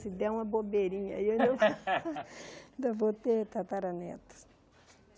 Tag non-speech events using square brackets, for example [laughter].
Se der uma bobeirinha aí ainda [laughs] ainda vou ter tataraneto.